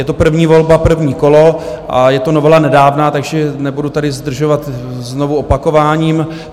Je to první volba, první kolo a je to novela nedávná, takže nebudu tady zdržovat znovu opakováním.